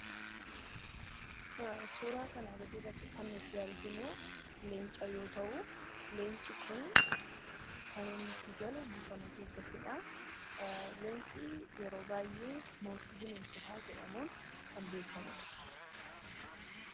Suuraa kanaan gadii irratti kan nuti arginuu, Leenca yoo ta'u Leenci Kun kan inni itti galu bosona keessattidhaa. Leenci yeroo baayyee mootii bineensotaa jedhamuun kan beekamudha.